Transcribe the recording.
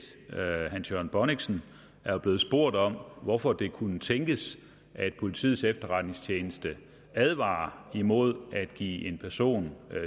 hans jørgen bonnichsen er jo blevet spurgt om hvorfor det kunne tænkes at politiets efterretningstjeneste advarer imod at give en person